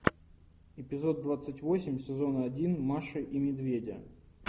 эпизод двадцать восемь сезона один маши и медведя